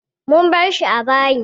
Mun bar shi a bayi.